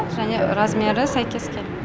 және размері сәйкес келмей